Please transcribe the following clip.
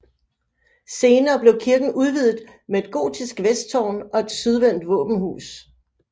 Senere blev kirken udvidet med et gotisk vesttårn og et sydvendt våbenhus